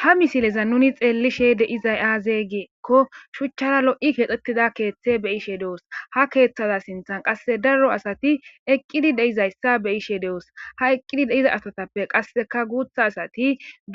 ha misileza nuni xeellishe deizay aazey giekko shuchchara lo7i keexetida keeththe beyishe de7os ha keeththada sinthan qasse darro asati eqqidi deizayssa be ishe de7os ha eqqidi deiza astatappe qasseka guutha asati